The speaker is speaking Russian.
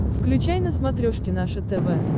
включай на смотрешке наше тв